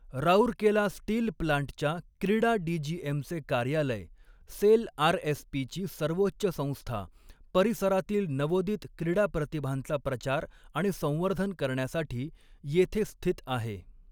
Rourkela steel प्लांटच्या क्रीडा डी.जी.एम.चे कार्यालय, सेल आर.एस.पी.ची सर्वोच्च संस्था, परिसरातील नवोदित क्रीडा प्रतिभांचा प्रचार आणि संवर्धन करण्यासाठी येथे स्थित आहे.